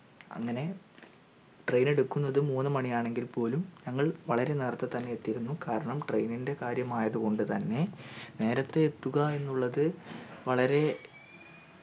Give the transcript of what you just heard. അങ്ങനെ train എടുക്കുന്നത് മൂന്നുമണിയാണെങ്കിൽ പോലും ഞങ്ങൾ വളരെ നേരത്തെ തന്നെ എത്തീരുന്നു കാരണം train ൻ്റെ കാര്യാമായത് കൊണ്ട് തന്നെ നേരെത്തെ എത്തുക എന്നുള്ളത് വളരെ